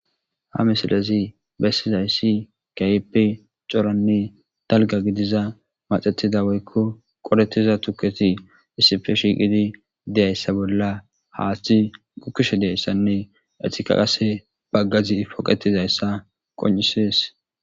Ha misilezi besizaysi kehippe c'oranne dalgga gidiza maxetida woykko qoretida tuketi iissippe shiqidi de'izayssa bolla haaththey gukishe de'izayssanne etika qasse bagazi poqetizayssa qonc'isess.